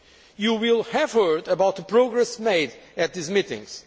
You will have heard about the progress made at these meetings.